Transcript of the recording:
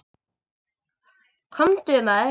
Komdu, maður.